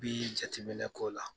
Nb'i'i jateminɛ k'o la